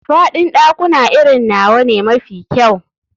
Faɗin ɗakuna irin nawa ne mafi kyau.